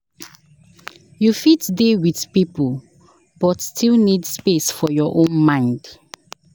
You fit dey with people, but still need space for your own mind.